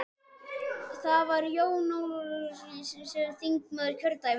Það var Jón Ólafsson, skáld og ritstjóri, þingmaður kjördæmisins.